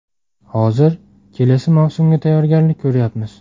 Hozir kelasi mavsumga tayyorgarlik ko‘ryapmiz.